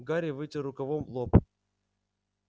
гарри вытер рукавом лоб